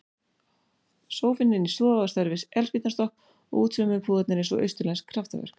Sófinn inni í stofu á stærð við eldspýtnastokk og útsaumuðu púðarnir eins og austurlensk kraftaverk.